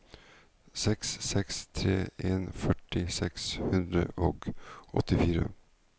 seks seks tre en førti seks hundre og åttifire